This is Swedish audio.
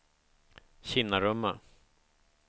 Kinnarumma